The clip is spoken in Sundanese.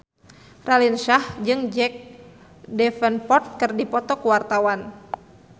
Raline Shah jeung Jack Davenport keur dipoto ku wartawan